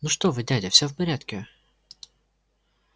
ну что вы дядя все в порядке